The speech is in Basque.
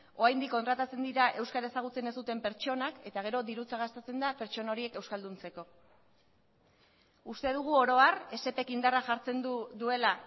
oraindik kontratatzen dira euskara ezagutzen ez duten pertsonak eta gero dirutza gastatzen da pertsona horiek euskalduntzeko uste dugu oro har esep ek indarra jartzen duela